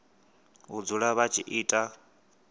u dzula vha tshi ita